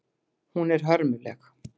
Hún er hörmuleg.